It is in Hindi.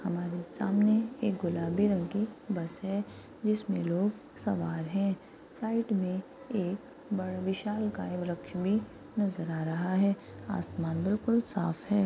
हमारे सामने एक गुलाबी रंग की बस है जिसमे लोग सवार है साइड में एक बड़ा विशालकाय वृक्ष भी नजर आ रहा है आसमान बिलकुल साफ़ है।